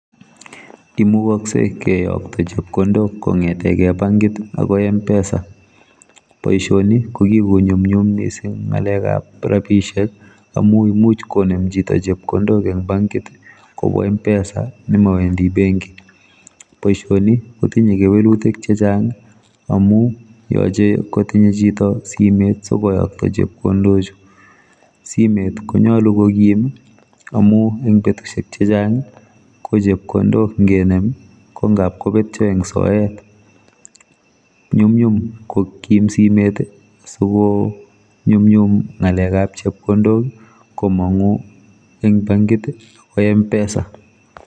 Imukoksei keyokto chepkondok kong'eteke bankit akoi mpesa. Boishoni ko kikonyomnyum mising poishetap rapishek amu imuch konem chito chepkondok eng bankit kobwa mpesa nemowendi benki. Boishoni kotinye kewelutik chechang amu yoche kotinye chito simet sikoyokto chepkondochu. Simet konyolu kokim, amu eng betushek chechang ko chepkondok nkenem ko nkap kopetyo eng soet. Nyumnyum kokim simet sikonyumnyum ng'alekap chepkondok komong'u eng bankit akoi mpesa.